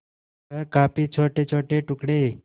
वह काफी छोटेछोटे टुकड़े